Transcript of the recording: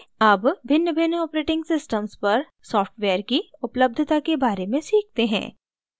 अब भिन्नभिन्न operating systems पर सॉफ्टवेयर की उपलब्धता के बारे में सीखते हैं